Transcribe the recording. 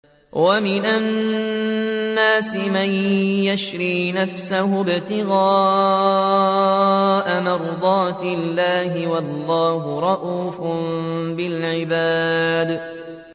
وَمِنَ النَّاسِ مَن يَشْرِي نَفْسَهُ ابْتِغَاءَ مَرْضَاتِ اللَّهِ ۗ وَاللَّهُ رَءُوفٌ بِالْعِبَادِ